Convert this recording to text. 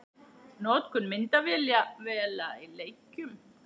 Notkun myndavéla í leikjum?